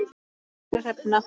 Kæra Hrefna.